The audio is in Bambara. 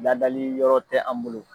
Ladali yɔrɔ tɛ an bolo